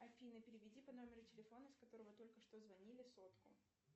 афина переведи по номеру телефона с которого только что звонили сотку